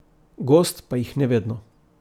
Gost pa jih ne vedno.